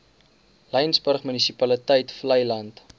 laingsburg munisipaliteit vleiland